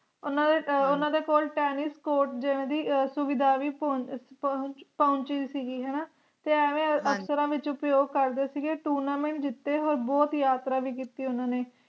ਉਨ੍ਹਾ ਦੇ ਓਹਨਾ ਦੇ ਕੋਲ Tennis Sport ਜਿਵੇਂ ਦੀ ਸੁਵਿਧਾ ਵੀ ਪਹੁ ਅਹ ਪਹੁੰਚਦੀ ਸੀ ਹਣ ਤੇ ਐਵੇ ਅਫਸਰਾਂ ਵਿਚ ਉਪਯੋਗ ਕਰਦੇ ਸੀਗੇ Tournament ਜਿਤੇ ਹੋਏ ਬਹੁਤ ਯਾਤਰਾ ਵੀ ਕੀਤੀ ਉਨ੍ਹਾ ਨੇ